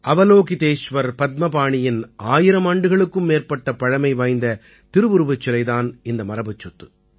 அவலோகிதேஸ்வர் பத்மபாணியின் ஆயிரம் ஆண்டுகளுக்கும் மேற்பட்ட பழைமை வாய்ந்த திருவுருவச் சிலை தான் இந்த மரபுச் சொத்து